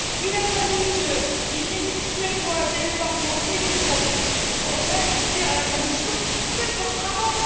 Il a fallu qu'une ministre suédoise et le Parlement saisissent la Cour de justice européenne pour dire à la Commission Faites votre travail!.